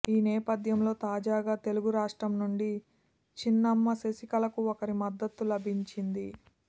ఈ నేపధ్యంలో తాజగా తెలుగు రాష్ట్రం నుండి చిన్నమ్మ శశికళకు ఒకరి మద్దత్తు లభించింది